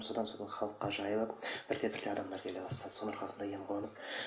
содан сол халыққа жайылып бірте бірте адамдар келе бастады соның арқасында ем қонып